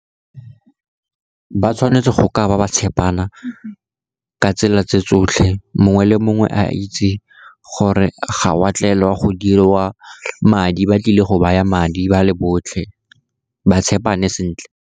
Ba tshwanetse go ka ba ba tshepana ka tsela tse tsotlhe, mongwe le mongwe a itse gore ga o a tlela go diriwa madi, ba tlile go baya madi ba le botlhe, ba tshepane sentle.